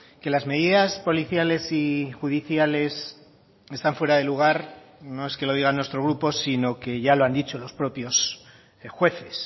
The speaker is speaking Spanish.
que las medidas policiales y judiciales están fuera de lugar no es que lo diga nuestro grupo sino que ya lo han dicho los propios jueces